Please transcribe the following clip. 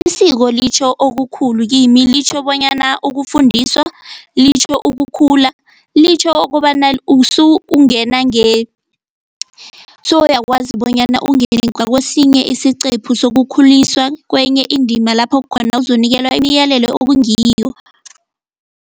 Isiko litjho okukhulu kimi litjho bonyana ukufundiswa, litjho ukukhula, litjho ukobana ungena sowuyakwazi bonyana ungene ngakwesinye isiqephu sokukhuliswa kwenye indima lapha khona uzonikelwa imiyalelo okungiyo.